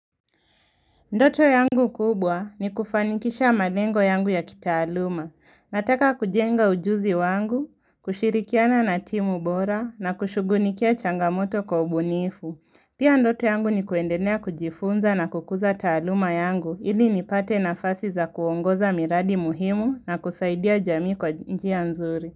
Ndoto yangu kubwa ni kufanikisha malengo yangu ya kitaaluma. Nataka kujenga ujuzi wangu, kushirikiana na timu bora na kushughulikia changamoto kwa ubunifu. Pia ndoto yangu ni kuendelea kujifunza na kukuza taaluma yangu ili nipate nafasi za kuongoza miradi muhimu na kusaidia jamii kwa njia nzuri.